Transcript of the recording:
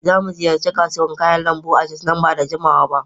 Za mu ziyarci kasuwar kayan lambu a jos nan ba da jimawa ba.